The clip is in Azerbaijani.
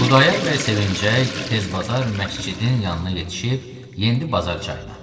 Xudayar bəy sevincək, tez bazar məscidin yanına yetişib, yendi bazar çayına.